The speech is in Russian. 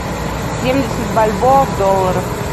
семьдесят бальбоа в долларах